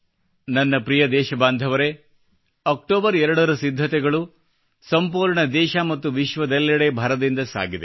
ನನ್ನ ಪ್ರಿಯ ದೇಶಬಾಂಧವರೇ ಅಕ್ಟೋಬರ್ 2 ರ ಸಿದ್ಧತೆಗಳು ಸಂಪೂರ್ಣ ದೇಶ ಮತ್ತು ವಿಶ್ವದೆಲ್ಲೆಡೆ ಭರದಿಂದ ಸಾಗಿದೆ